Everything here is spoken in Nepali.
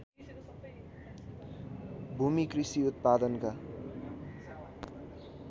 भूमि कृषि उत्पादनका